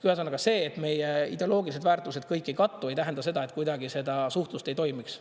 Ühesõnaga see, et meie ideoloogilised väärtused kõik ei kattu, ei tähenda seda, et kuidagi seda suhtlust ei toimiks.